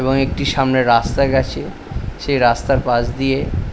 এবং একটি সামনে রাস্তা গেছে সে রাস্তার পাশ দিয়ে --